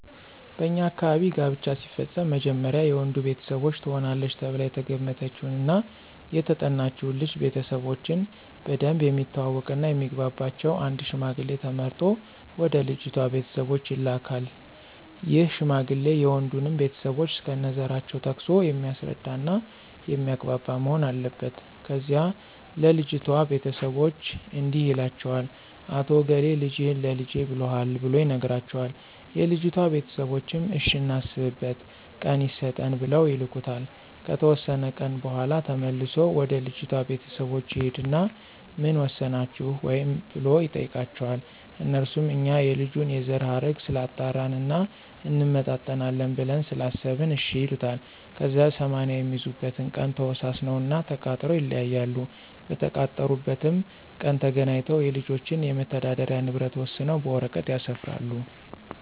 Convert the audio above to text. በኛ አካባቢ ጋብቻ ሲፈፀም መጀመሪያ የወንዱ ቤተሰቦች ትሆናለች ተብላ የተገመተችውን እና የተጠናችውን ልጅ ቤተሰቦቾን በደንብ የሚተዋወቅ እና የሚግባባቸውን አንድ ሽማግሌ ተመርጦ ወደ ልጅቷ ቤተሰቦች ይላካን ይህ ሽማግሌ የወንዱንም ቤተሰቦች እስከነዘራቸው ጠቅሶ የሚያስረዳ እና የሚያግባባ መሆን አለበት። ከዚያ ለልጅቷ ቤተሰቦች እንዲህ ይላቸዋል "አቶ እገሌ ልጅህን ለልጀ ብሎሀል"ብሎ ይነግራቸዋል የልጅቷ ቤተሰቦችም እሽ እናስብበት ቀን ይሰጠን ብለው ይልኩታል። ከተወሰነ ቀን በኋላ ተመልሶ ወደ ልጅቷ ቤተሰቦች ይሂድና ምን ወሰናችሁ ወይ ብሎ ይጠይቃቸዋል? አነሱም እኛ የልጁን የዘረሀረግ ስላጣራን እና እንመጣጠናለን ብለን ስላሰበን እሽ ይሉታል። ከዚያ 80 የሚይዙበትን ቀን ተወሳስነውና ተቃጥረው ይለያያሉ። በተቀጣጠሩበት ቀን ተገናኝተው የልጆችን የመተዳደሪ ንብረት ወሰነው በወረቀት ያሰፍራሉ።